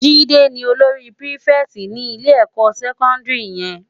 Jide ni ólóri pirifèti ni ilé èkò sèkòndiri yèn